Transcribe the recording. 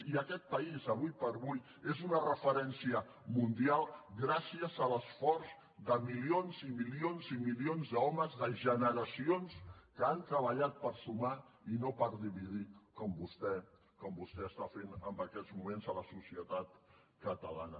i aquest país ara com ara és una referència mundial gràcies a l’esforç de milions i milions i milions d’homes de generacions que han treballat per sumar i no per dividir com vostè està fent en aquests moments a la societat catalana